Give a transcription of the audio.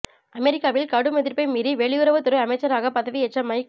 அமெரிக்காவில் கடும் எதிர்ப்பை மீறி வெளியுறவு துறை அமைச்சராக பதவியேற்ற மைக்